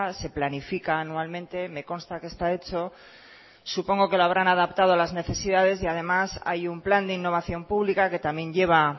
se planifica anualmente me consta que está hecho supongo que lo habrán adaptado a las necesidades y además hay un plan de innovación pública que también lleva